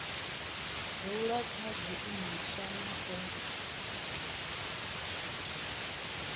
dzula kha zwiimiswa na u